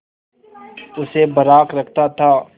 उसे बर्राक रखता था